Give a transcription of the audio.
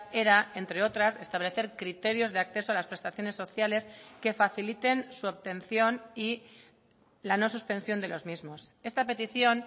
era entre otras establecer criterios de acceso a las prestaciones sociales que faciliten su obtención y la no suspensión de los mismos esta petición